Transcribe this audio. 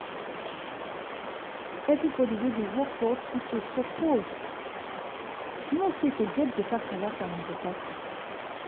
everybody wey dey work for hospital suppose know say to get better character na better thing.